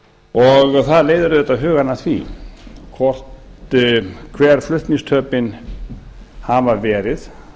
það leiðir auðvitað hugann að því hver flutningstapið hafa verið